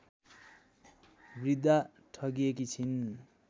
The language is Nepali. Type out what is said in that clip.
वृद्धा ठगिएकी छिन्